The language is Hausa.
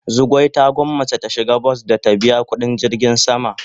Zugwai ta gwanmace ta shiga bas da ta biya kudin jirgin sama.